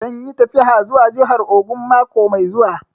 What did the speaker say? Zan yi tafiya zuwa jahar Ogun mako mai zuwa